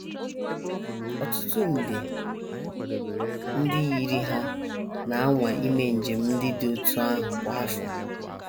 Ọtụtụ nde ndị yiri ha na - anwa ime njem ndị dị otú ahụ kwa afọ.